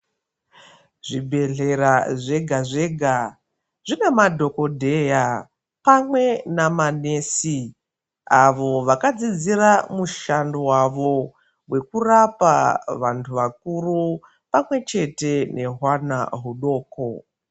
Zvibhedhlera zvega zvega zvina madhokoteya pamwe nema nurse avo vakadzidzira mushando wavo wokurapa vantu vakuru pamwe chete vehwana hudoko.